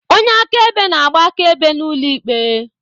Onye akaebe na-agba akaebe n'ụlọ ikpe.